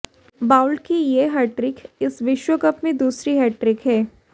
Boult की यह hattrick इस विश्व कप में दूसरी हैट्रिक है